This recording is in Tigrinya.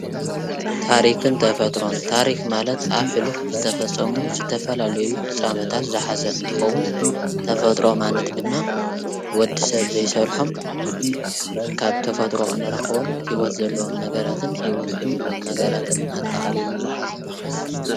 ታሪክን ተፈጥሮን ታሪክ ማለት ኣብ ሕሉፍ ዝተፈፀሞ ዝተፈላለዩ ፍፃመታት ዝሓዘ እንትከዉን ተፈጥሮ ማለት ድማ ወዲ ሰብ ዘይሰርሖም ካብ ተፈጥሮ ንረክቦም ሂወት ዘለዎም ነገራትን ሂወት ዘየብሎም ነገራትን ኣጠቃሊሉ ዝሓዘ ማለት እዩ፡፡